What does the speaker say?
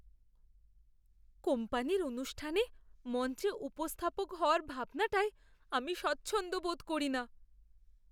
কোম্পানির অনুষ্ঠানে মঞ্চে উপস্থাপক হওয়ার ভাবনাটায় আমি স্বচ্ছন্দ বোধ করি না।